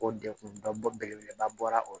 O degun ba belebeleba bɔra o